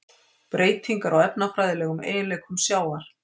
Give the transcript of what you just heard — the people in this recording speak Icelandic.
Breytingar á efnafræðilegum eiginleikum sjávar: